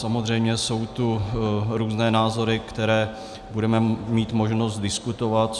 Samozřejmě jsou tu různé názory, které budeme mít možnost diskutovat.